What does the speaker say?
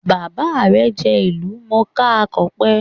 Bàbá rè jẹ́ ìlú mòó ká akọ̀pe